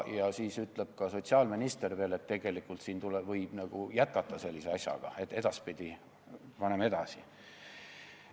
Ja siis ütleb ka sotsiaalminister veel, et tegelikult võib sellise asjaga jätkata, et edaspidi paneme edasi.